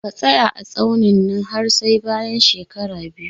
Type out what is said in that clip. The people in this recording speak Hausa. Ka tsaya a tsaunin nan har sai bayan shekara biyu